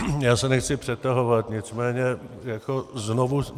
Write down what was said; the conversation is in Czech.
Já se nechci přetahovat, nicméně znovu.